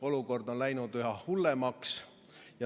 Olukord on läinud üha hullemaks.